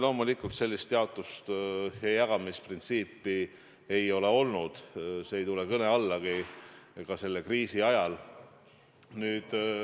Loomulikult, sellist jaotust ja jagamisprintsiipi ei ole olnud, see ei tule kõne allagi, ka selle kriisi ajal.